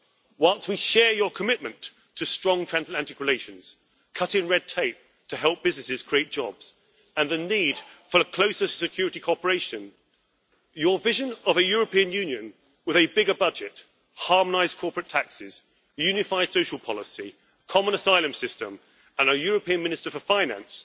Whilst we share your commitment to strong transatlantic relations, cutting red tape to help businesses create jobs, and the need for closer security cooperation, your vision of a European Union with a bigger budget, harmonised corporate taxes, unified social policy, a common asylum system and a European Minister for Finance